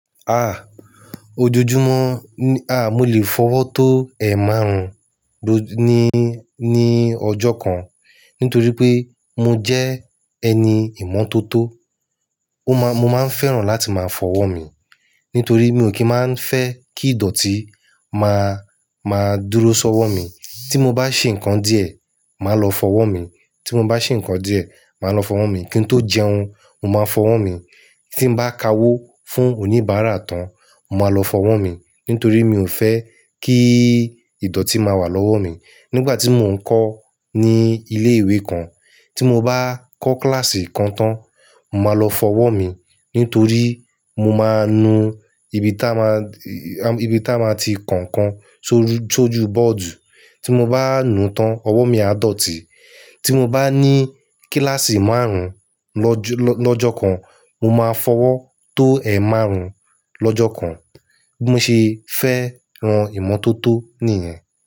Ojoojúmọ́, mo lè fọwọ́ tó ẹ̀ márùn-ún ló ní, ní ọjọ́ kan. Nítorí pé mo jẹ́ ẹni ìmọ́tótó. Ó má, mo máa ń fẹ́ràn láti máa fọwọ́ mi. Nítorí mi ò kí máa ń fẹ́ kí ìdọ̀tí máa, máa dúró sọ́wọ́ mi. Tí mo bá ṣe nǹkan díẹ̀, màá lọ fọwọ́ mi. Tí mo bá ṣe nǹkan díẹ̀, màá lọ fọwọ́ mi. Kí n tó jẹun, mo máa fọwọ́ mi. Tí m bá ka wó fún oníbàárà tán, mo máa lọ fọwọ́ mi. Nítorí mi ò fẹ́ kí ìdọ̀tí máa wà lọ́wọ́ mi. Nígbà tí mò ń kọ́ ní ilé ìwé kan, tí mo bá kọ́ kíláàsì kan tán, mo máa lọ fọwọ́ mi. Nítorí mo máa nu ibi táa ma, ibi táa ma ti ko nkan sórí, sójú bọ́ọ̀dù. Tí mo bá a nu tán, ọwọ́ mi á dọ̀tí. Tí mo bá ní kíláàsì márùn-ún lọ́jọ, lọ́jọ́ kan, mo máa fọwọ́ tó ẹ̀ márùn-ún lọ́jọ́ kan. Mo ṣe fẹ́ ran ìmọ́tótó nìyẹn.